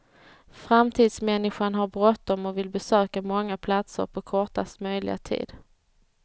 Framtidsmänniskan har bråttom och vill besöka många platser på kortast möjliga tid.